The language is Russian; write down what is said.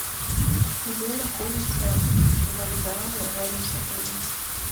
где находятся вокзалы рядом с отелем